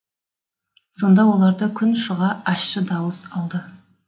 сонда оларды күн шыға ащы дауыс алды